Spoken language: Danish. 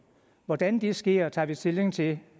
hvordan det sker tager vi stilling til